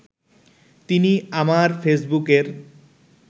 তিনি আমার ফেসবুকের